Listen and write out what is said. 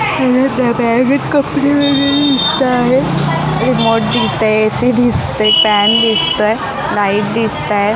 या ब बॅगेत कपडे वगेरे दिसत आहेत रिमोट दिसत आहे ए_सी दिसत आहे फॅन दिसतोय लाईट दिसताय.